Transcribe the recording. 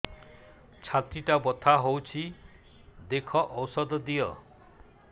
ଛାତି ଟା ବଥା ହଉଚି ଦେଖ ଔଷଧ ଦିଅ